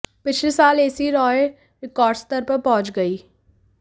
पिछले साल ऐसी राय रिकॉर्ड स्तर पर पहुंच गई